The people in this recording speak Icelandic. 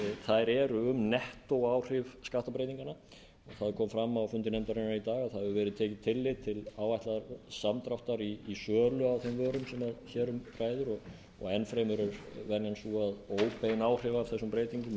þær eru um nettóáhrif skattabreytinganna það kom fram á fundi nefndarinnar í dag að það hefði verið tekið tillit til áætlaðs samdráttar í sölu á þeim vörum sem hér um ræðir og enn fremur er venjan sú að óbein áhrif af þessum breytingum